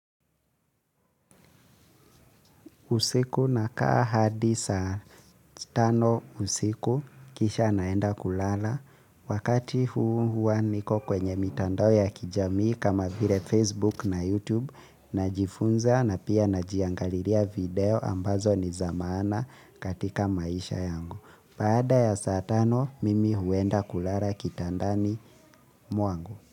Usiku nakaa hadi saa tano usiku. Kisha naenda kulala. Wakati huu hua niko kwenye mitandao ya kijamii kama vile Facebook na YouTube najifunza na pia najiangalilia video ambazo ni za maana katika maisha yangu. Baada ya saa tano, mimi huenda kulala kitandani mwangu.